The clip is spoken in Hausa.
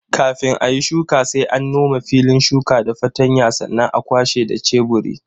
Kafin ayi shuka sai an nome filin shuka da fartanya sannan a kwashe da sheburi.